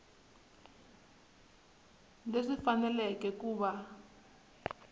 leswi swi fanele ku va